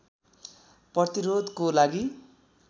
प्रतिरोधको लागि